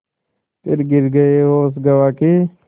फिर गिर गये होश गँवा के